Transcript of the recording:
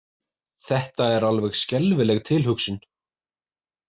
Þetta er alveg skelfileg tilhugsun